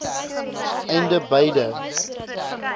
einde beide i